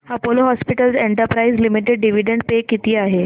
Apollo hospitals enterprise limited dividend pay किती आहे